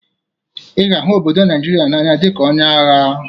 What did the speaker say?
Ị ga-ahụ obodo Naịjịrịa n'anya dịka onye agha!